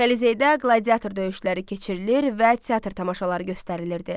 Kollizeydə qladiatro döyüşləri keçirilir və teatr tamaşaları göstərilirdi.